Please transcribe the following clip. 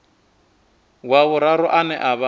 wa vhuraru ane a vha